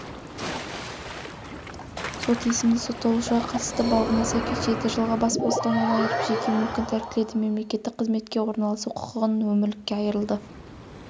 сот есімді сотталушыға қатысты бабына сәйкес жеті жылға бас бостандығынан айырып жеке мүлкін тәркіледі мемлекеттік қызметке орналасу құқығынан өмірлікке айырылды